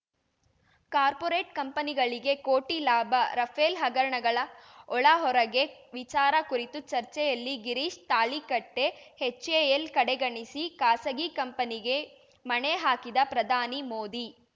corporate ಕಂಪನಿಗಳಿಗೆ ಕೋಟಿ ಲಾಭ ರಫೇಲ್‌ ಹಗರಣಗಳ ಒಳ ಹೊರಗೆ ವಿಚಾರ ಕುರಿತು ಚರ್ಚೆಯಲ್ಲಿ ಗಿರೀಶ್‌ ತಾಳಿಕಟ್ಟೆ ಎಚ್‌ಎಎಲ್‌ ಕಡೆಗಣಿಸಿ ಖಾಸಗಿ ಕಂಪನಿಗೆ ಮಣೆ ಹಾಕಿದ ಪ್ರಧಾನಿ ಮೋದಿ